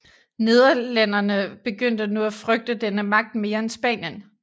Nederlændere begyndte nu at frygte denne magt mere end Spanien